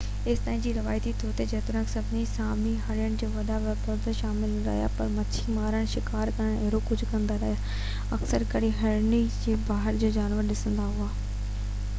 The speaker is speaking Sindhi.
ايستائين جو روايتي طور تي جيتوڻيڪ سڀئي سامي هرڻين جي وڏي پيداوار ۾ شامل نه رهيا پر مڇي مارڻ شڪار ڪرڻ ۽ اهڙو ڪجهه ڪندا رهيا اڪثر ڪري هرڻي کي بهار جو جانور سڏيندا هئا